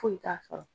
Foyi t'a sɔrɔ